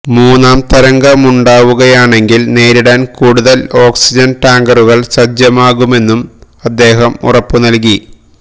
മൂന്നാം തരംഗമുണ്ടാവുകയാണെങ്കിൽ നേരിടാൻ കൂടുതൽ ഓക്സിജൻ ടാങ്കറുകൾ സജ്ജമാക്കുമെന്നും അദ്ദേഹം ഉറപ്പു നൽകി